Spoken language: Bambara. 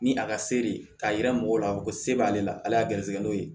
Ni a ka sere ye k'a yira mɔgɔw la a bi fɔ ko se b'ale la ale y'a gɛrɛsɛgɛ n'o ye